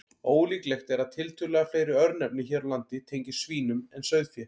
Ólíklegt er að tiltölulega fleiri örnefni hér á landi tengist svínum en sauðfé.